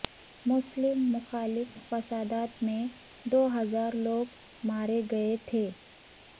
مسلم مخالف فسادات میں دو ہزار لوگ مارے گئے تھے